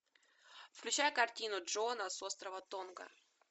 включай картину джона с острова тонга